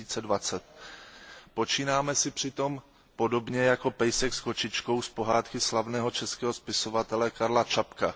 2020. Počínáme si přitom podobně jako pejsek s kočičkou z pohádky slavného českého spisovatele Karla Čapka.